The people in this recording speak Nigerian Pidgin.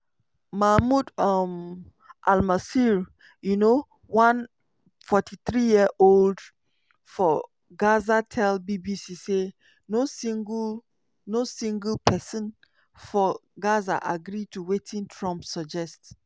mahmoud um almasry um one 43-year-old for gaza tell bbc say no single no single pesin for gaza agree to wetin trump suggest.